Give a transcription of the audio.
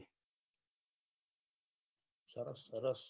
સરસ સરસ